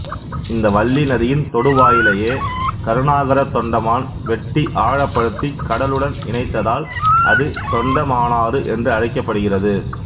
இந்த வல்லி நதியின் தொடுவாயிலையே கருணாகரத் தொண்டமான் வெட்டி ஆழப்படுத்தி கடலுடன் இணைத்ததால் அது தொண்டமானாறு என்று அழைக்கப்படுகிறது